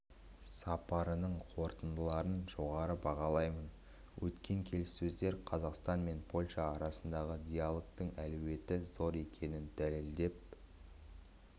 сапарының қорытындыларын жоғары бағалаймын өткен келіссөздер қазақстан мен польша арасындағы диалогтың әлеуеті зор екенін дәлелдеп